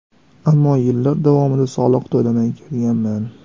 Ammo yillar davomida soliq to‘lamay kelganman.